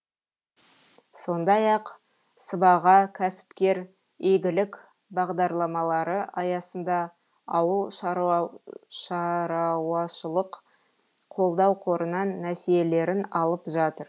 сондай ақ сыбаға кәсіпкер игілік бағдарламалары аясында ауылшарауашылық қолдау қорынан несиелерін алып жатыр